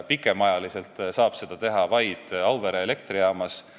Pikemaajaliselt saab seda teha vaid Auvere elektrijaamas.